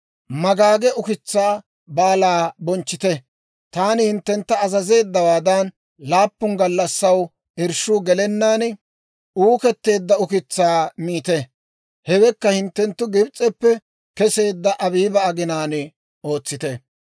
«Magaage ukitsaa Baalaa bonchchite; taani hinttentta azazeeddawaadan, laappun gallassaw irshshuu gelennaan uuketteedda ukitsaa miite; hewaakka hinttenttu Gibs'eppe keseedda Abiiba aginaan ootsite.